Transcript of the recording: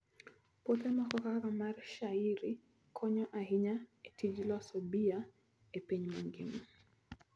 Puothe moko kaka mar shayiri, konyo ahinya e tij loso bia e piny mangima.